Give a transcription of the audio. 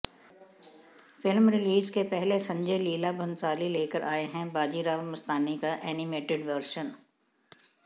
film release के पहले संजय लीला भंसाली लेकर आयें हैं बाजीराव मस्तानी का एनिमेटेड वर्शन